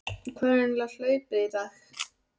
Hvað er eiginlega hlaupið í þig?